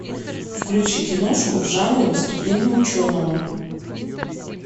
включи киношку в жанре выступление ученого